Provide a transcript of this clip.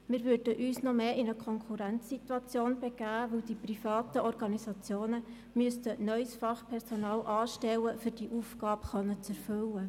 Wir würden uns noch stärker in eine Konkurrenzsituation begeben, weil die privaten Organisationen neues Fachpersonal anstellen müssten, um diese Aufgabe zu erfüllen.